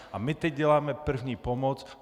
A my teď děláme první pomoc.